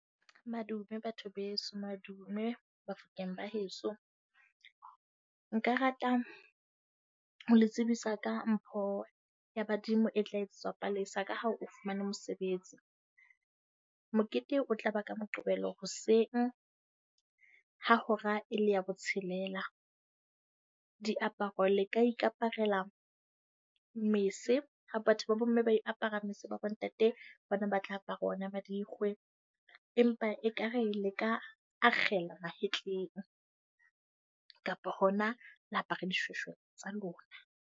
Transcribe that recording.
Madume, batho beso. Madume, Bafokeng ba heso. Nka rata ho le tsebisa ka mpho ya badimo e tla etsetswa Palesa ka ha o fumane mosebetsi. Mokete o tlaba ka Moqebelo hoseng ha hora e le ya botshelela. Diaparo le ka ikaparela mese. Ha batho ba bomme ba apara mese, ba bontate bona ba tla apara ona marikgwe empa ekare le ka akgela mahetleng kapa hona la apara dishweshwe tsa lona.